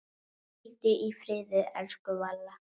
Hvíldu í friði, elsku Valla.